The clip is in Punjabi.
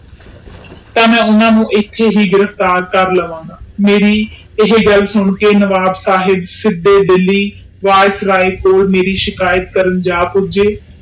ਤਾ ਮੈਂ ਓਹਨਾ ਨੂੰ ਇੱਥੇ ਹੀ ਗਿਰਫ਼ਤਾਰ ਕਰ ਲਾਵਾਂ ਗਏ ਮੇਰੇ ਇਹ ਗੱਲ ਸੁਨ ਕੇ ਨਵਾਬ ਸਾਹਿਬ ਸਿੱਧਾ ਦਿੱਲੀ ਵਾਇਸਰਾਏ ਤੋਂ ਮੇਰੀ ਸ਼ਿਕਾਇਤ ਕਰਨ ਜਾ ਪੁੱਜੇ।